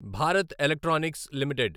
Bharat electronics limited